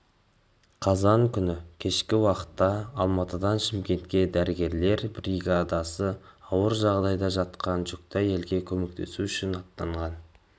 қазан күні кешкі уақытта алматыдан шымкентке дәрігерлер бригадасы ауыр жағдайда жатқан жүкті әйелге көмектесу үшін аттанған